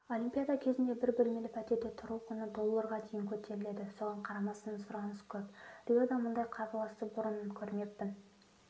олимпиада кезінде бір бөлмелі пәтерде тұру құны долларға дейін көтеріледі соған қарамастан сұраныс көп риода мұндай қарбаласты бұрын көрмеппін